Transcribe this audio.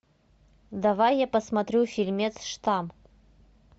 давай я посмотрю фильмец штамм